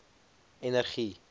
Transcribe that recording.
energie